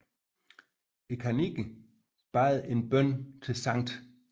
Kanniken bad en bøn til Skt